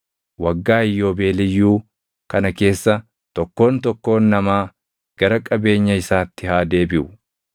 “ ‘Waggaa Iyyoobeeliyyuu kana keessa tokkoon tokkoon namaa gara qabeenya isaatti haa deebiʼu.